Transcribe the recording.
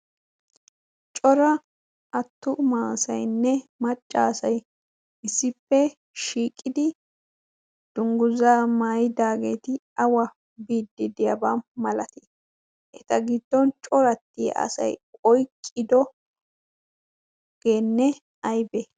cora attu maasainne maccaasay issippe shiiqidi dungguza maaydaageeti awa biiddi diyaabaa malatii eta giddon corattia asay oyqqidoogeenne aybe?